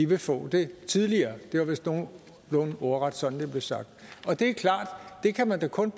vil få det tidligere det var vist nogenlunde ordret som det blev sagt det er klart at man kun